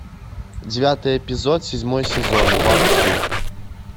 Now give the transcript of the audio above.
девятый эпизод седьмой сезон вакфу